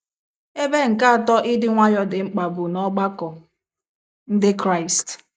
Ebe nke atọ ịdị nwayọọ dị mkpa bụ n’ọgbakọ Ndị Kraịst.